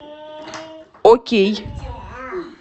окей